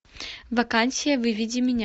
вакансия выведи меня